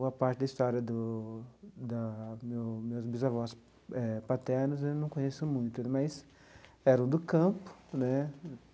Uma parte da história do da meu meus bisavós eh paternos eu não conheço muito, mas eram do campo né.